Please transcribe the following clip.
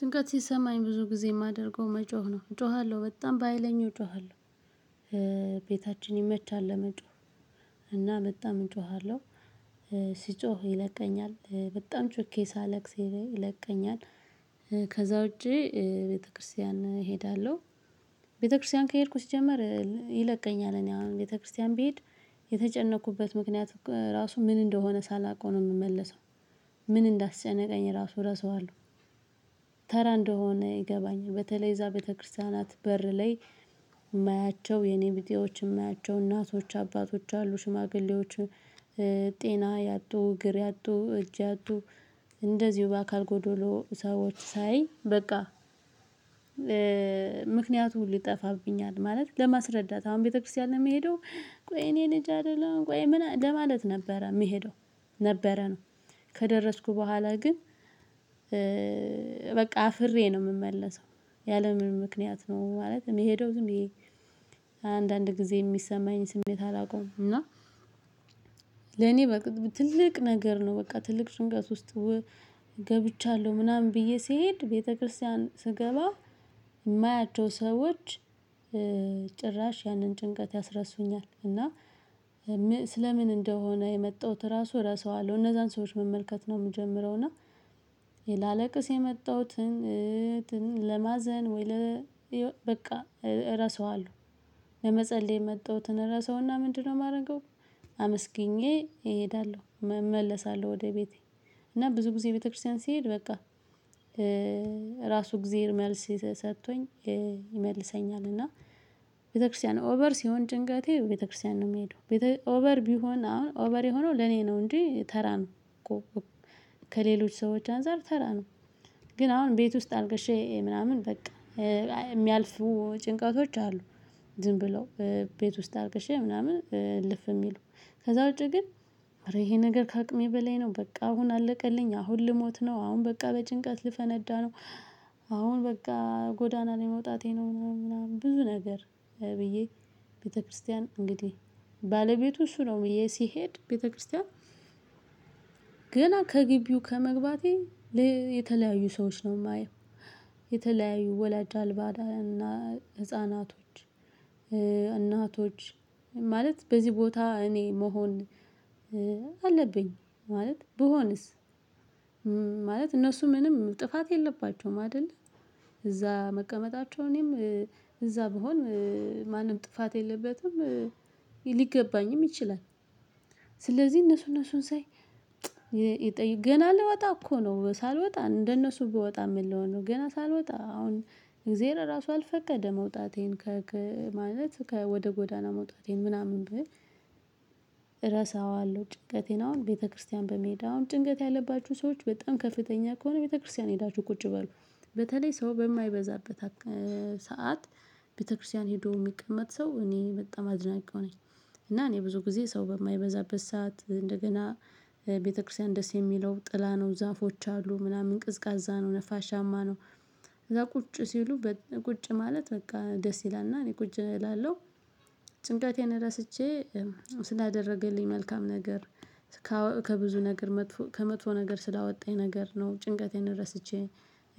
ጭንቀት ሲሰማኝ ብዙ ጊዜ የማደርገው መጮህ ነው እጮሃለሁ በጣም በሃይለኛው እጮሃለሁ። ቤታችን ይመቻል ለመጮህ። እና በጣም እጮሃለሁ። ስጮህ ይለቀኛል በጣም ጩኬ ሳለቅስ ይለቀኛል። ከዛ ውጪ ቤተክርስቲያን እሄዳለሁ። ቤተክርስቲያን ከሄድኩ ሲጀመር ይለቀኛል እኔ አሁን ቤተክርስቲያን ብሄድ የተጨነቅኩበት ምክንያት ራሱ ምን እንደሆነ ሳላውቀው ነው የምመለሰው። ምን እንዳስጨነቀኝ ራሱ ረሳዋለሁ። እንደሆነ ይገባኛል በተለይ እዛ ቤተክርስቲያናት በር ላይ የማያቸው የኔቢጤዎች የማያቸው እናቶች አባቶች አሉ ሽማግሌዎች። ጤና ያጡ እግር ያጡ እጅ ያጡ እንደዚሁ በአካል ጎዶሎ ሰዎች ሳይ በቃ። ምክንያቱ ሁሉ ይጠፋብኛል ማለት ለማስረዳት አሁን ቤተክርስቲያን የምሄደው። ቆይ እኔ ልጅህ አይደለሁም ቆይ ምን ለማለት ነበረ የምሄደው ነበረ ነው። ከደረስኩ በኋላ ግን በቃ አፍሬ ነው የምመለሰው። ያለምንም ምክንያት ነው ማለት የምሄደው ዝምብዬ። አንዳንድ ጊዜ የሚሰማኝን ስሜት አላውቅም እና። ለኔ በቃ ትልቅ ነገር ነው በቃ ትልቅ ጭንቀት ውስጥ። ገብቻለሁ ምናምን ብዬ ስሄድ ቤተክርስቲያን ስገባ የማያቸው ሰዎች። ጭራሽ ያንን ጭንቀት ያስረሱኛል እና። ስለ ምን እንደሆነ የመጣሁት ራሱ ረሳዋለሁ እነዛን ሰዎች መመልከት ነው የምጀምረው እና። ላለቅስ የመጣሁትን እንትን ለማዘን ወይ ለ በቃ ረሳዋለሁ። ለመጸለይ የመጣሁትን ረሳውና ምንድነው የማደርገው? አመስግኜ እሄዳለሁ እመለሳለሁ ወደ ቤቴ። እና ብዙ ጊዜ ቤተክርስቲያን ሲሄድ በቃ። ራሱ እግዜር መልስ ሰጥቶኝ። ይመልሰኛል እና ቤተክርስቲያን ኦቨር ሲሆን ጭንቀቴ ቤተክርስቲያን ነው የምሄደው። ቤተ ኦቨር ቢሆን አሁን ኦቨር የሆነው ለኔ ነው እንጂ ተራ ነው እኮ። ከሌሎች ሰዎች አንፃር ተራ ነው። ግን አሁን ቤት ውስጥ አልቀሼ ምናምን በቃ። የሚያልፉ ጭንቀቶች አሉ። ዝም ብለው ቤት ውስጥ አርቅሼ ምናምን እልፍ የሚሉ ከዛ ውጪ ግን። ኧረ ይሄ ነገር ከአቅሜ በላይ ነው በቃ አሁን አለቀልኝ አሁን ልሞት ነው አሁን በቃ በጭንቀት ልፈነዳ ነው። አሁን በቃ ጎዳና ላይ መውጣቴ ነው ምናምን ምናምን ብዙ ነገር ብዬ። ቤተክርስቲያን እንግዲህ ባለቤቱ እሱ ነው ብዬ ሲሄድ ቤተክርስቲያን። ገና ከግቢው ከመግባቴ የተለያዩ ሰዎች ነው የማየው። የተለያዩ ወላጅ አልባ እና ህፃናቶች። እናቶች ማለት በዚህ ቦታ እኔ መሆን አለብኝ ማለት ብሆንስ። ማለት እነሱ ምንም ጥፋት የለባቸውም አይደለ። እዛ መቀመጣቸው እኔም እዛ ብሆን ማንም ጥፋት የለበትም። ሊገባኝም ይችላል። እነሱ እነሱን ሳይ። የጠየቁ ገና ልወጣ እኮ ነው ሳልወጣ እንደነሱ ብወጣ ምን ልሆን ነው? ገና ሳልወጣ አሁን እግዜር ራሱ አልፈቀደ መውጣቴን ከ ማለት ከ ወደ ጎዳና መውጣቴን ምናምን። ብል ረሳዋለሁ ጭንቀቴን አሁን ቤተክርስቲያን በመሄድ አሁን ጭንቀት ያለባችሁ ሰዎች በጣም ከፍተኛ ከሆነ ቤተክርስቲያን ሄዳችሁ ቁጭ በሉ። በተለይ ሰው በማይበዛበት ሰዓት ቤተክርስቲያን ሄዶ የሚቀመጥ ሰው እኔ በጣም አድናቂው ነኝ። እና እኔ ብዙ ጊዜ ሰው በማይበዛበት ሰዓት እንደገና ቤተክርስቲያን ደስ የሚለው ጥላ ነው ዛፎች አሉ ምናምን ቀዝቃዛ ነው ነፋሻማ ነው። ከዛ ቁጭ ሲሉ ቁጭ ማለት በቃ ደስ ይላል እና እኔ ቁጭ እላለሁ። ጭንቀቴን ረስቼ ስላደረገልኝ መልካም ነገር። ከብዙ ነገር መጥፎ ከመጥፎ ነገር ስላወጣኝ ነገር ነው። ጭንቀቴን ረስቼ